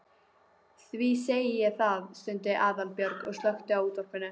Því segi ég það. stundi Aðalbjörg og slökkti á útvarpinu.